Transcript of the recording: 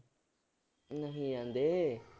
ਨਹੀਂ ਜਾਂਦੇ।